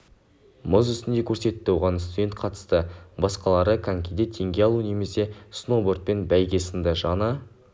мұз үстінде көрсетті оған студент қатысты басқалары конькиде теңге алу немесе сноубордпен бәйге сынды жаңа